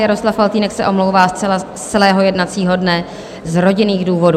Jaroslav Faltýnek se omlouvá z celého jednacího dne z rodinných důvodů.